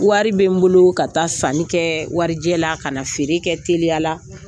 Warijɛ bƐ n bolo ka taa sanni kɛ warijɛ la ka na feere kɛ teliya la,